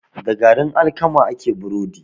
Da garin alkama ake burodi.